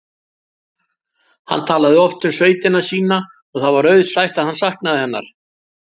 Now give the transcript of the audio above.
Hann talaði oft um sveitina sína og það var auðsætt að hann saknaði hennar.